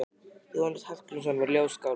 Jónas Hallgrímsson var ljóðskáld.